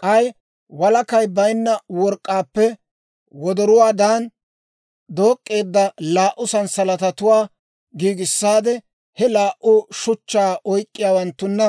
K'ay walakay baynna work'k'aappe wodoruwaadan dook'k'eedda laa"u sanssalatatuwaa giigissaade, he laa"u shuchchaa oyk'k'iyaawanttunna